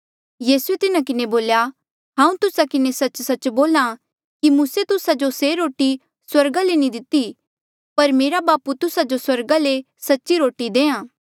यीसूए तिन्हा किन्हें बोल्या हांऊँ तुस्सा किन्हें सच्च सच्च बोल्हा कि मूसे तुस्सा जो से रोटी स्वर्गा ले नी दिती पर मेरा बापू तुस्सा जो स्वर्गा ले सच्ची रोटी देहां